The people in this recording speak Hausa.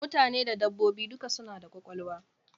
Mutane da dabbobi duka suna da kwakwalwa.